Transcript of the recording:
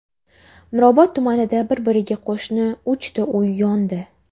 Mirobod tumanida bir-biriga qo‘shni uchta uy yondi.